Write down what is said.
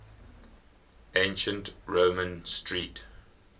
ancient roman street